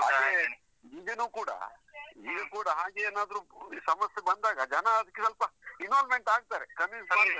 ಆದ್ರೆ ಇದನ್ನೂ ಕೂಡ, ಈಗ್ಲೂ ಕೂಡ ಹಾಗೇನಾದ್ರು ಸಮಸ್ಯೆ ಬಂದಾಗ ಜನ ಅದ್ಕೆ ಸ್ವಲ್ಪ involvement ಆಗ್ತಾರೆ convince